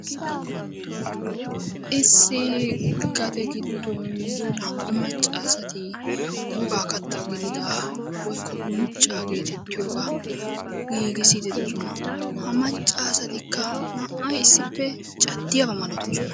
Issi gaden giddonnaa''u maccasati woga katta gidida woykko uncca gididaaga giigissiyaaba malatoosona, ha maccasatiika caddiyaaba malatoosona.